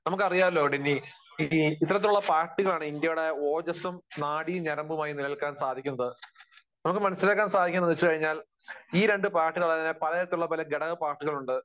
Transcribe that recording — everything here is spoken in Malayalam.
നമുക്കറിയാമല്ലോ ഡിന്നീ, ഇത്രത്തോളം ഉള്ള പാർട്ടികളാണ് ഇന്ത്യയുടെ ഓജസ്സും നാഡീ ഞരമ്പുമായി നിലനിൽക്കാൻ സാധിക്കുന്നത്. നമുക്ക് മനസ്സിലാക്കാൻ സാധിക്കുന്നത് എന്ന് വെച്ചു കഴിഞ്ഞാൽ ഈ രണ്ടു പാർട്ടികൾ അതുപോലെതന്നെ പല തരത്തിലുള്ള പല ഘടക പാർട്ടികളും ഉണ്ട്.